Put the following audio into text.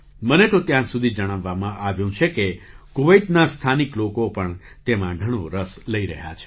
મને તો ત્યાં સુધી જણાવવામાં આવ્યું છે કે કુવૈતના સ્થાનિક લોકો પણ તેમાં ઘણો રસ લઈ રહ્યા છે